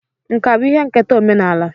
Nkà bụ ihe nketa omenala